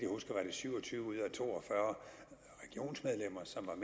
syv og tyve ud af to og fyrre regionsmedlemmer som